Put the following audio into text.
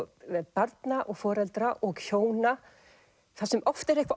barna og foreldra og hjóna þar sem oft er eitthvað